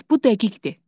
Bu dəqiqdir.